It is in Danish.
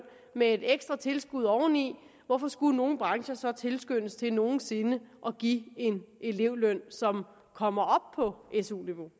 med et ekstra tilskud oveni hvorfor skulle nogle brancher så tilskyndes til nogen sinde at give en elevløn som kommer op på su niveau